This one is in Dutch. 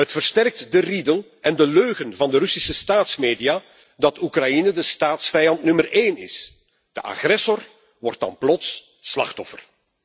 Het versterkt de riedel en de leugen van de Russische staatsmedia dat Oekraïne de staatsvijand nummer 1 is. De agressor wordt dan plots slachtoffer.